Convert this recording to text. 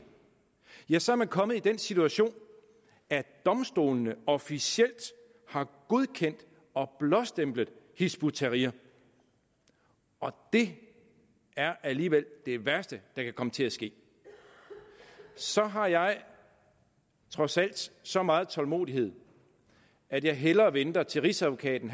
ja så er man kommet i den situation at domstolene officielt har godkendt og blåstemplet hizb ut tahrir og det er alligevel det værste der kan komme til at ske så har jeg trods alt så meget tålmodighed at jeg hellere venter til at rigsadvokaten